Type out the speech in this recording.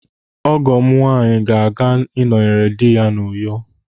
Ọgọ m nwaanyị ga-aga ịnọnyere dị ya n'Uyo.